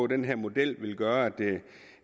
den her model vil gøre